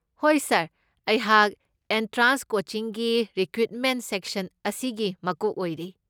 ꯍꯣꯏ ꯁꯔ, ꯑꯩꯍꯥꯛ ꯑꯦꯟꯇ꯭ꯔꯦꯟꯁ ꯀꯣꯆꯤꯡꯒꯤ ꯔꯦꯀ꯭ꯔꯨꯠꯃꯦꯟꯠ ꯁꯦꯛꯁꯟ ꯑꯁꯤꯒꯤ ꯃꯀꯣꯛ ꯑꯣꯏꯔꯤ꯫